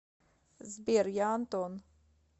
сбер я антон